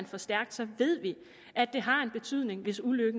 for stærkt ved vi at det har en betydning hvis uheldet